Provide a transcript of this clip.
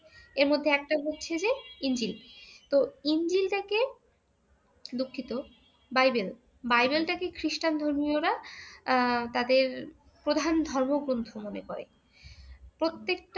এর মধ্যে একটা হচ্ছে যে ইনজিল। তোহ ইনজিলটাকে দুঃখিত বাইবেল বাইবেলটাকে খ্রীষ্টান ধর্মীয়রা আহ তাদের প্রধান ধর্মগ্রন্থ মনে করে প্রত্যককে